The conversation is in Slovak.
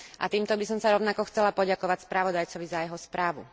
Týmto by som sa rovnako chcela poďakovať spravodajcovi za jeho správu.